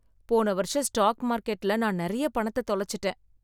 போன வருஷம் ஸ்டாக் மார்கெட்ல நான் நிறைய பணத்தை தொலைச்சுட்டேன்